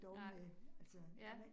Nej, ja